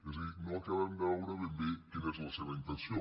és a dir no acabem de veure ben bé quina és la seva intenció